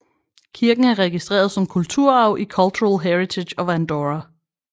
Kirken er registreret som kulturarv i Cultural Heritage of Andorra